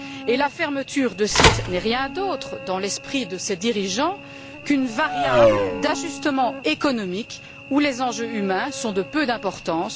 Et la fermeture de sites n'est rien d'autre, dans l'esprit de ces dirigeants, qu'une variable d'ajustement économique, où les enjeux humains sont de peu d'importance.